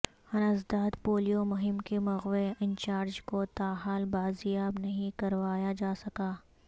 انسداد پولیو مہم کے مغوی انچارج کو تاحال بازیاب نہیں کروایا جا سکا